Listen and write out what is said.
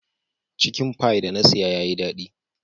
Chicken pie da na siya ya Yi dadi.